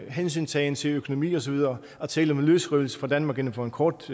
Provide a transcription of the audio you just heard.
hensyntagen til økonomi og så videre at tale om en løsrivelse fra danmark inden for en kort